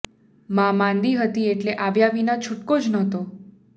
મા માંદી હતી એટલે આવ્યા વિના છૂટકો જ નહોતો